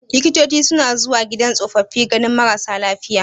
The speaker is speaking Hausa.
Likitoci suna zuwa gidan tsofaffi ganin marasa lafiya.